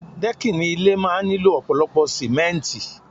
Dẹ́kìnì ilé máa ń nílò ọ̀pọ̀lọpọ̀ símẹ́ntì